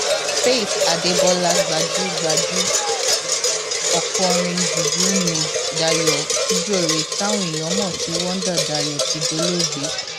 faith adébọlá gbajúgbajú okòrin juju nni dayo kujore táwọn èèyàn mọ sí wonder dayo ti dolóògbé